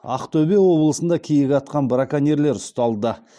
ақтөбе облысында киік атқан браконьерлер ұсталды